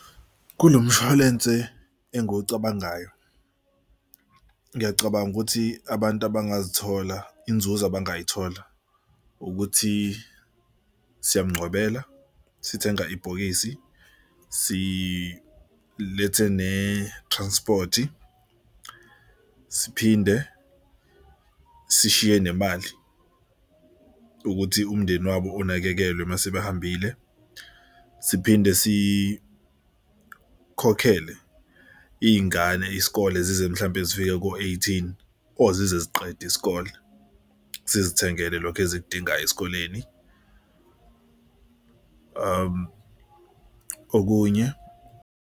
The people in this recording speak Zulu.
Kulo mshwalense engikucabangayo ngiyacabanga ukuthi abantu abangazithola inzuzo abangayithola ukuthi siyamgcwabela, sithenga ibhokisi, silethe ne-transport, siphinde sishiye nemali ukuthi umndeni wabo unakekelwe mase bahambile. Siphinde sikhokhele iy'ngane isikole zize mhlawumbe zifike ko-eighteen or zize ziqede isikole. Sizithengela lokho ezikudingayo esikoleni okunye.